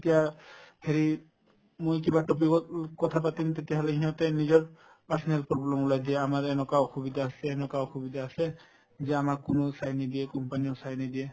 এতিয়া হেৰি মই কিবা topic ত উম কথা পাতিম তেতিয়াহলে সিহঁতে নিজৰ personal problem ত লাগে আমাৰ এনেকুৱা অসুবিধা আছে এনেকুৱা অসুবিধা আছে যে আমাক কোনেও চাই নিদিয়ে company ও চাই নিদিয়ে